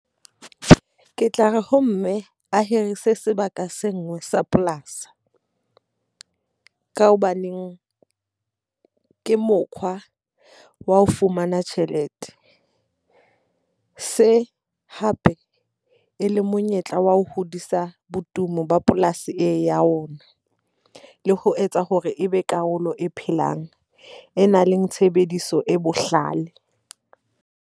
Ke tla re ho mme, a hirise sebaka se nngwe sa polasi. Ka hobaneng ke mokgwa wa ho fumana tjhelete, se hape e le monyetla wa ho hodisa botumo ba polasi ee ya rona. Le ho etsa hore e be karolo e phelang e nang le tshebediso e bohlale.